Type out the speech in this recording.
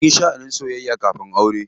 Mun shaa soyayya kafin aure.